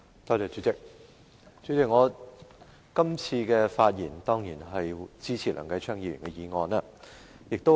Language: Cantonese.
代理主席，我今次的發言當然是支持梁繼昌議員的議案。